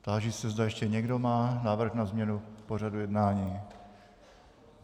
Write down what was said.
Táži se, zda ještě někdo má návrh na změnu pořadu jednání.